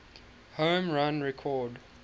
home run record